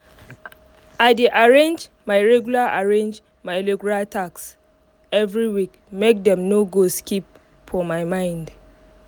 i dey arrange my regular arrange my regular tasks every week make dem no go skip for my mind